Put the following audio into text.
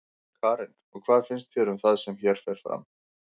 Karen: Og hvað finnst þér um það sem hér fer fram?